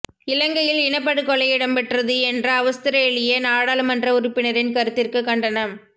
இலங்கையில் இனப்படுகொலை இடம்பெற்றது என்ற அவுஸ்திரேலிய நாடாளுமன்ற உறுப்பினரின் கருத்திற்கு கண்டனம்